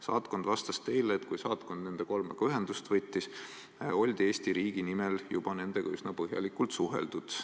Saatkond vastas teile, et kui saatkond nende kolmega ühendust võttis, oldi Eesti riigi nimel nende büroodega juba üsna põhjalikult suheldud.